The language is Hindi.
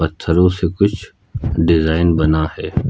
थरो से कुछ डिजाइन बना है।